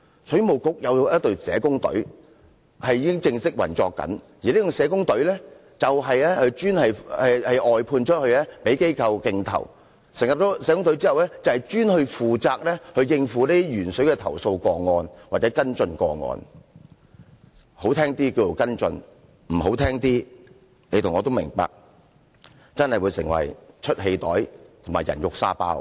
水務局有一隊已經正式運作的社工隊，而這隊社工隊是外判的，供其他機構競投，成立社工隊後，專門負責應付鉛水投訴個案或跟進個案，說得好聽一點是跟進，不好聽的，你和我都明白，確實會成為出氣袋和"人肉沙包"。